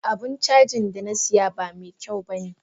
Abun cajin Dana siya ba mekyaun bane